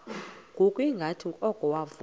ngokungathi oko wavuma